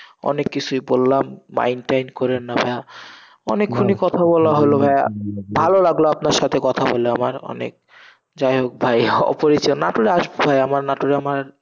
অনেক কিসুই বললাম mind টাইন করেন না ভাইয়া, অনেকক্ষণই কথা বলা হলো ভাইয়া, ভালো লাগলো আপনার সাথে কথা বলে আমার অনেক, যাই হোক ভাইয়া অপরিচয়, নাটোরে আসবেন ভাইয়া, আমার নাটোরে আমার,